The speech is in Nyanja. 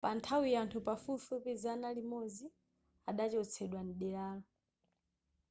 panthawiyo anthu pafupifupi zana limodzi adachotsedwa mderalo